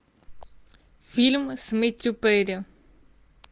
фильм с мэттью перри